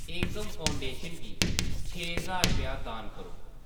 एकम Foundation गी छे ज्हार रपेआ दान करो।